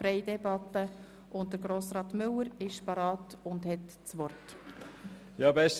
Ich wünsche Ihnen einen erholsamen Abend und ein wunderschönes Wochenende.